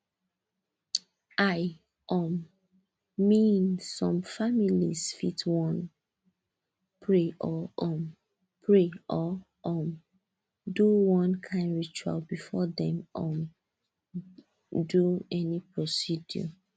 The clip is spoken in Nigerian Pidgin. i um mean some families fit wan pray or um pray or um do one kind ritual before dem um do any procedure